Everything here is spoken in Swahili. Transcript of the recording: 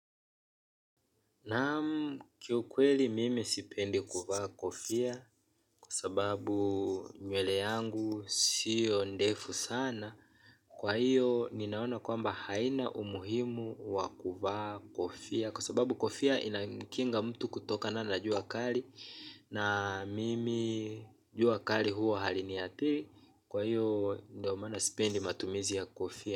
Naam, kiukweli mimi sipendi kuvaa kofia kwa sababu nywele yangu sio ndefu sana. Kwa hiyo ninaona kwamba haina umuhimu wa kuvaa kofia kwa sababu kofia inakinga mtu kutokana na jua kali. Na mimi jua kali huwa haliniathiri. Kwa hiyo ndio maana sipendi matumizi ya kofia.